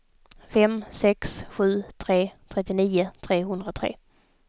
fem sex sju tre trettionio trehundratre